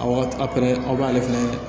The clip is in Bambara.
A wagati aw fɛnɛ aw b'ale fɛnɛ